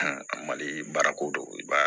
mali baara ko don i b'a ye